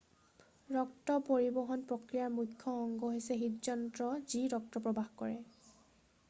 ৰক্ত পৰিবহণ প্ৰক্ৰিয়াৰ মুখ্য অংগ হৈছে হৃদযন্ত্ৰ যি ৰক্ত প্ৰবাহ কৰে